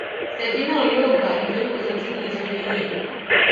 ṣèkí náà yóò gbà nítorí kò sí ohun tí mò ń ṣe lẹyìn ẹ